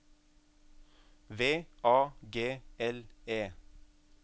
V A G L E